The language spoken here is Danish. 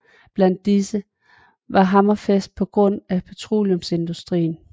Blandt disse var Hammerfest på grund af petroleumsindustrien